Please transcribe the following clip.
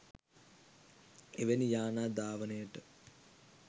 එවැනි යානා ධාවනයට